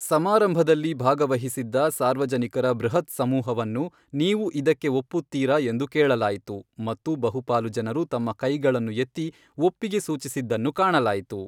ಸಮಾರಂಭದಲ್ಲಿ ಭಾಗವಹಿಸಿದ್ದ ಸಾರ್ವಜನಿಕರ ಬೃಹತ್ ಸಮೂಹವನ್ನು ನೀವು ಇದಕ್ಕೆ ಒಪ್ಪುತ್ತೀರಾ ಎಂದು ಕೇಳಲಾಯಿತು ಮತ್ತು ಬಹುಪಾಲು ಜನರು ತಮ್ಮ ಕೈಗಳನ್ನು ಎತ್ತಿ ಒಪ್ಪಿಗೆ ಸೂಚಿಸಿದ್ದನ್ನು ಕಾಣಲಾಯಿತು.